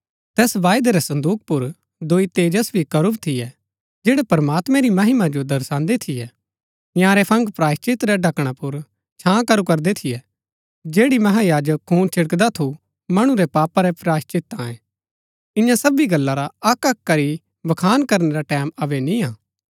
तैस वायदै रै संदूक पुर दोई तेजस्वी करूब थियै जैड़ै प्रमात्मैं री महिमा जो दर्शान्दै थियै इन्यारै फंग प्रायश्‍चित रै ढकणा पुर छां करू करदै थियै जैड़ी महायाजक खून छिड़कदा थू मणु रै पापा रै प्रायश्‍चित तांये इआं सबी गल्ला रा अक्कअक्क करी बखान करनै रा टैमं अबै निआं